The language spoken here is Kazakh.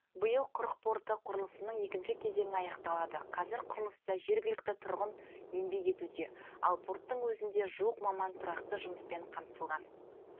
биыл құрық порты құрылысының екінші кезеңі аяқталады қазір құрылыста жергілікті тұрғын еңбек етуде ал порттың өзінде жуық маман тұрақты жұмыспен қамтылған